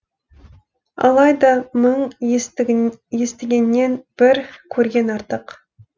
алайда мың естігеннен бір көрген артық